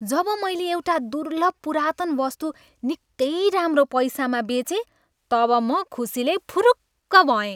जब मैले एउटा दुर्लभ पुरातन वस्तु निकै राम्रै पैसामा बेचेँ तब म खुसीले फुरुक्क भएँ।